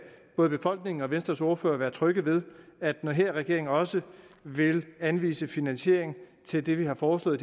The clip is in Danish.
både befolkningen og venstres ordfører være tryg ved at den her regering også vil anvise finansiering til det vi har foreslået